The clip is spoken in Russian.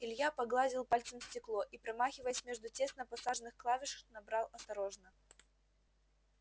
илья погладил пальцем стекло и промахиваясь между тесно посаженных клавиш набрал осторожно